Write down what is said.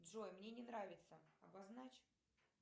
джой мне не нравится обозначь